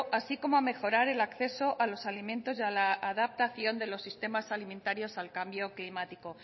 así como a mejorar el acceso a los alimentos y a la adaptación de los sistemas alimentarios al cambio climático